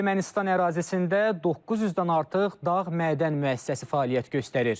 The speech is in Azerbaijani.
Ermənistan ərazisində 900-dən artıq dağ mədənn müəssisəsi fəaliyyət göstərir.